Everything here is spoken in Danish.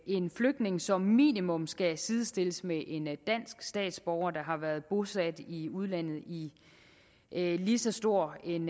en flygtning som minimum skal sidestilles med en dansk statsborger der har været bosat i udlandet i lige så stor en